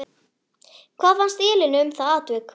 Hvað fannst Elínu um það atvik?